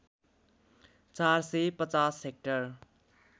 ४ सय ५० हेक्टर